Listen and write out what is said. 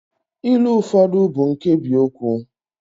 ilu ụfọdụ bụ nkebiokwu